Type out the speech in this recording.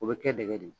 O bɛ kɛ dɛgɛ de ye